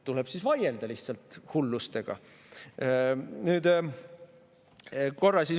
Tuleb siis lihtsalt vaielda hulluste vastu.